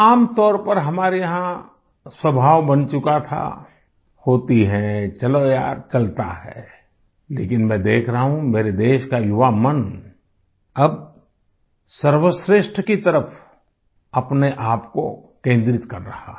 आमतौर पर हमारे यहाँ स्वभाव बन चुका था होती है चलो यार चलता है लेकिन मैं देख रहा हूँ मेरे देश का युवा मन अब सर्वश्रेष्ठ की तरफ अपने आपको केन्द्रित कर रहा है